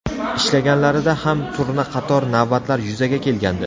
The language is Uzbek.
Ishlaganlarida ham turna qator navbatlar yuzaga kelgandi.